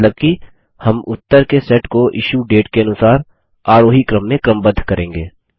मतलब कि हम उत्तर के सेट को इश्यूडेट के अनुसार आरोही क्रम में क्रमबद्ध करेंगे